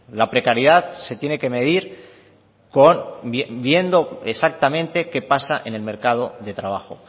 la precariedad se tiene que medir con viendo exactamente qué pasa en el mercado de trabajo